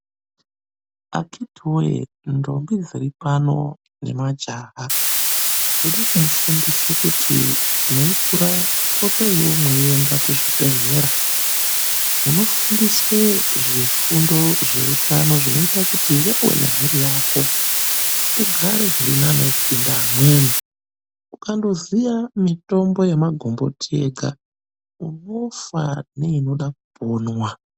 Akhitiwe ndombi dziri pano nemajaha. Ndirikumufundise kuti mweikura potaiyo mweienda kuzvibhedhlera. Unofundiswe zvifundo zveutano kuti iwewe nemhuri yako, ugare zvirinani kupinda amweni. Ukandoziya mitombo yamagomboti yega, unofa, neinoda kuponwa.